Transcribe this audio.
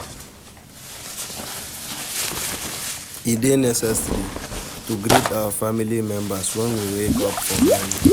E de necessary to greet our family members when we wake up for morning